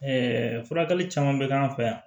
Ɛɛ furakɛli caman bɛ k'an fɛ yan